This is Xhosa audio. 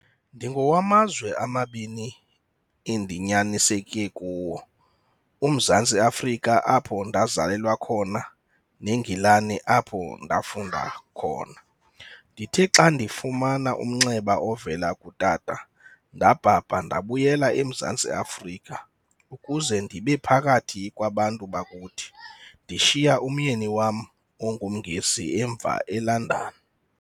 "Ndingowamazwe amabini endinyaniseke kuwo- UMzantsi Afrika apho ndazalelwa khona neNgilani apho ndafunda khona. Ndithe xa ndifumana umnxeba ovela kutata, ndabhabha ndabuyela eMzantsi Afrika ukuze ndibe phakathi kwaBantu bakuthi, ndishiya umyeni wam onguNngesi emva eLondon.